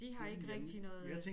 De har ikke rigtig noget øh